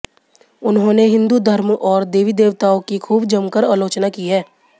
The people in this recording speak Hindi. उन्होंने हिन्दू धर्म और देवी देवताओं की खूब जमकर आलोचना की है